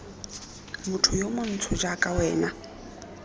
motho yo montsho jaaka wena